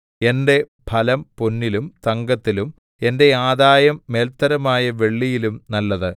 എന്റെ ഫലം പൊന്നിലും തങ്കത്തിലും എന്റെ ആദായം മേല്ത്തരമായ വെള്ളിയിലും നല്ലത്